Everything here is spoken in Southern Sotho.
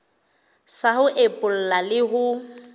sa ho epolla le ho